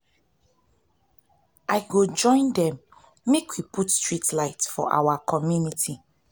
i go join dem make we put street light for our um community. um